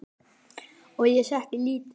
Og ég setti lítið